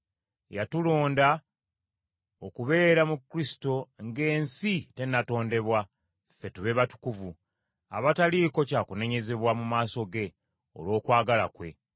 Yatulonda okubeera mu Kristo ng’ensi tennatondebwa, ffe tube batukuvu, abataliiko kya kunenyezebwa mu maaso ge, olw’okwagala kwe.